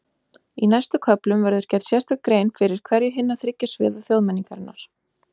Í næstu köflum verður gerð sérstök grein fyrir hverju hinna þriggja sviða þjóðmenningarinnar.